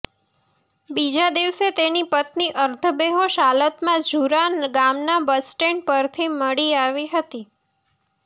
બીજા દિવસે તેની પત્ની અર્ધબેહોશ હાલતમાં ઝુરા ગામના બસ સ્ટેન્ડ પરથી મળી આવી હતી